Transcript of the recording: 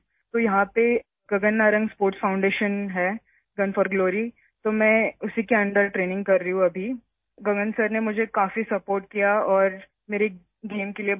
تو یہاں پر گگن نارنگ اسپورٹس فاؤنڈیشن ہے، گن فار گلوری... میں اب اس کے تحت ٹریننگ کر رہی ہوں... گگن صاحب نے مجھے بہت سپورٹ کیا اور میرے کھیل کے لیے میری حوصلہ افزائی کی